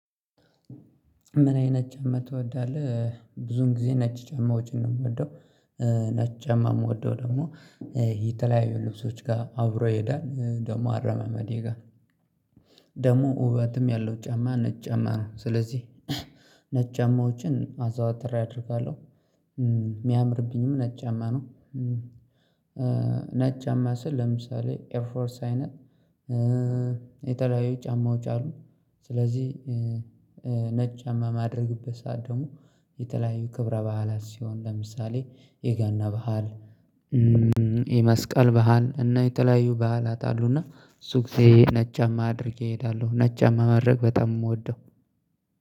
ምን አይነት ጫማ ትወዳለህ? ብዙውን ጊዜ ነጭ ጨማ ዎችን ነው የምወደው። ነጭ ጫማ የምወደው ደግሞ የተለያዩ ልብሶች ጋር አብሮ ይሄዳል ደግሞ አረማመዴ ጋር ውበትም ያለው ጫማ ነጭ ጫማ ነው። ስለዚህ ነጭ ጫማዎችን አዘዋትሬ አደርጋለሁ የሚያምርብኝም ነጭጫማ ነው። ነጭጫማ ስል ለምሳሌ ኤርፎርስ አይነት የተለያዩ ጫማዎች አሉ። ስለዚህ ነጭጫማ የማድረግበት ሰዓት ደግሞ የተለያዩ ክብረ ባህላት ሲሆን ለምሳሌ የገና ባህል የመስቀል ባህል እና የተለያዩ ባህላት አሉና እሱ ጊዜ ነጭጫማ አድርጌ እሄዳለሁ። ነጭጫማ ማድረግ በጣም የምወደው